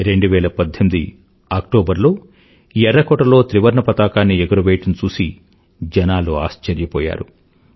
2018అక్టోబర్ లో ఎర్రకోటలో త్రివర్ణపతాకాన్ని ఎగురవేయడం చూసి జనాలు ఆశ్చర్యపోయారు